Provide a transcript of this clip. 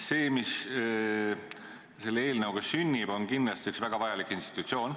See, mis selle eelnõuga sünnib, on kindlasti üks väga vajalik institutsioon.